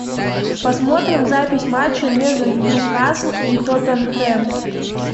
посмотрим запись матча между ньюкасл и тоттенхэм